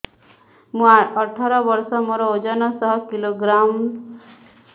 ମୁଁ ଅଠର ବର୍ଷ ମୋର ଓଜନ ଶହ କିଲୋଗ୍ରାମସ